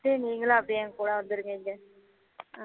சரி நீங்களும் அப்படியே என் கூட வந்துருங்க இங்க